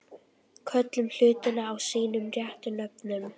Köllum hlutina sínum réttu nöfnum.